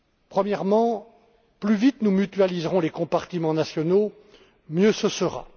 Premièrement, plus vite nous mutualiserons les compartiments nationaux, mieux ce sera.